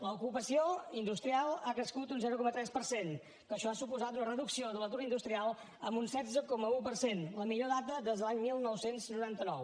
l’ocupació industrial ha crescut un zero coma tres per cent que això ha suposat una reducció de l’atur industrial en un setze coma un per cent la millor dada des de l’any dinou noranta nou